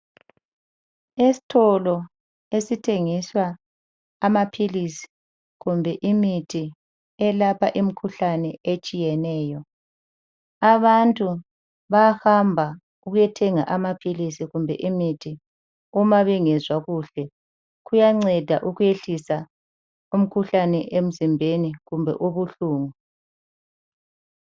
Esitolo esithengiswa amaphilisi kumbe imithi eyelapha imikhuhlane etshiyeneyo. Abantu bayahamba ukuyethenga amaphilisi kumbe imithi uma bengezwa kuhle. Kuyanceda ukwehlisa imikhuhlane emzimbeni loba ubuhlungu.